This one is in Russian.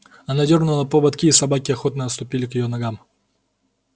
она дёрнула поводки и собаки охотно отступили к её ногам